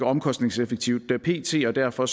omkostningseffektivt pt og derfor